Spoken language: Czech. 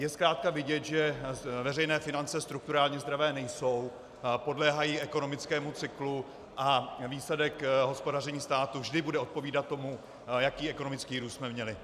Je zkrátka vidět, že veřejné finance strukturálně zdravé nejsou, podléhají ekonomickému cyklu a výsledek hospodaření státu vždy bude odpovídat tomu, jaký ekonomický růst jsme měli.